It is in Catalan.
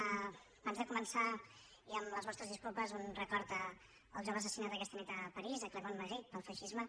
abans de començar i amb les vos·tres disculpes un record al jove assassinat aquesta nit a parís a clément méric pel feixisme